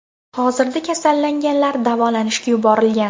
Hozirda kasallanganlar davolanishga yuborilgan.